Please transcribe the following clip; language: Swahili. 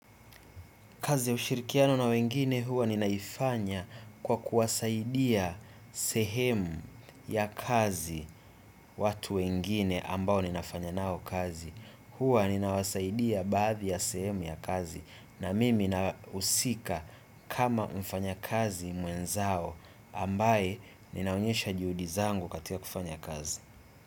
Kazi ushirikiano na wengine huwa ninaifanya kwa kuwasaidia sehemu ya kazi watu wengine ambao ninafanya nao kazi. Huwa ninawasaidia baadhi ya sehemu ya kazi na mimi nausika kama mfanya kazi mwenzao ambaye ninaonyesha juhudizangu katia kufanya kazi.